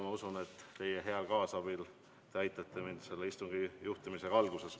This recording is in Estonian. Ma usun, et te aitate mind alguses selle istungi juhtimisel.